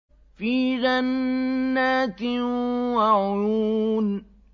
فِي جَنَّاتٍ وَعُيُونٍ